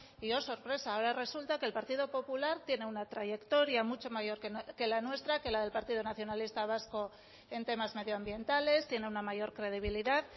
y oh sorpresa ahora resulta que el partido popular tiene una trayectoria mucho mayor que la nuestra que la del partido nacionalista vasco en temas medioambientales tiene una mayor credibilidad